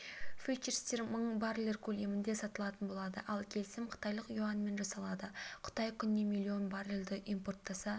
фьючерстер мың баррель көлемінде сатылатын болады ал келісім қытайлық юаньмен жасалады қытай күніне миллион баррельді импорттаса